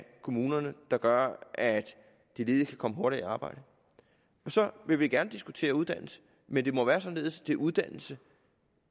kommunerne der gør at de ledige kan komme hurtigere i arbejde så vil vi gerne diskutere uddannelse men det må være således at det er uddannelse